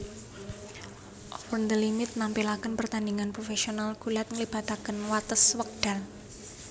Over the Limit nampilakèn pertandingan profesional gulat nglibatakèn watès wèkdal